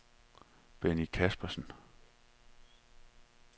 Benny Caspersen